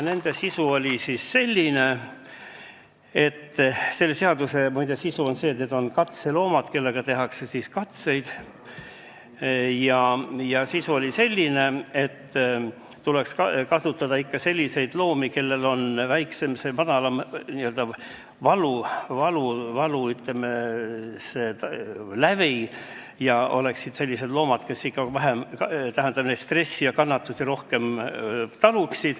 Selle seaduse sisu on see, et katseloomadena tuleks kasutada selliseid loomi, kellel on, ütleme, madalam valulävi, kes tunneksid vähem stressi ja taluksid paremini kannatusi.